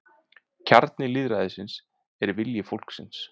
Kjarni lýðræðisins er vilji fólksins